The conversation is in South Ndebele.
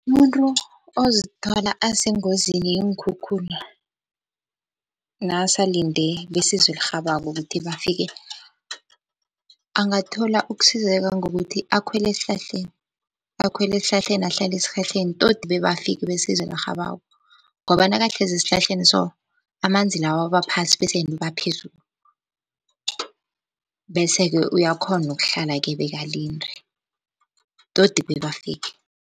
Umuntu ozithola asengozini yeenkhukhula nakasalinde besizo elirhabako ukuthi bafike, angathola ukusizeka ngokuthi akhwele esihlahleni. Akhwele esihlahleni, ahlale esihlahleni tot bebafike besizo elirhabako, ngoba nakahlezi esihlahleni so amanzi lawa aba phasi bese yena uba phezulu. Bese-ke uyakhona ukuhlala-ke bekalinde tot bebafike.